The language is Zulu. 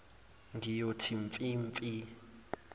ngiyothi mfi mfi